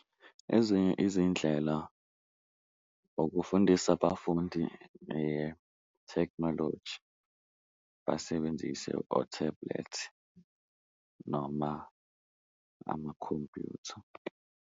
Ezinye izindlela ukufundisa abafundi ngethekhnoloji basebenzise o-tablet noma amakhompyutha.